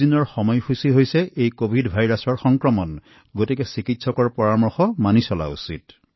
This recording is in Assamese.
১৪ ৰ পৰা ২১ দিনৰ কভিড সময় তালিকা আছে যত আমি চিকিৎসকৰ পৰামৰ্শ লোৱা উচিত